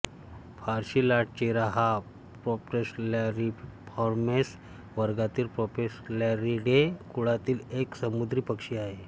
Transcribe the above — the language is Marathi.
फारसी लाटचिरा हा प्रोसेलॅरीफॉर्मेस वर्गातील प्रोसेलॅरीडे कुळातील एक समुद्री पक्षी आहे